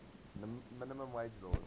minimum wage laws